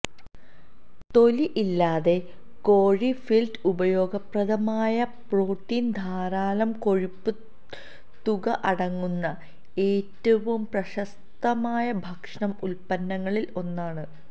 തൊലി ഇല്ലാതെ കോഴി ഫിൽറ്റ് ഉപയോഗപ്രദമായ പ്രോട്ടീൻ ധാരാളം കൊഴുപ്പ് തുക അടങ്ങുന്ന ഏറ്റവും പ്രശസ്തമായ ഭക്ഷണ ഉത്പന്നങ്ങളിൽ ഒന്നാണ്